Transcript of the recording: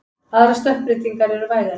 Aðrar stökkbreytingar eru vægari.